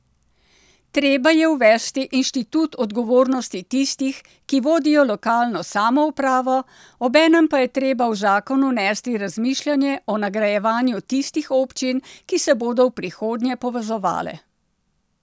Treba je uvesti inštitut odgovornosti tistih, ki vodijo lokalno samoupravo, obenem pa je treba v zakon vnesti razmišljanje o nagrajevanju tistih občin, ki se bodo v prihodnje povezovale.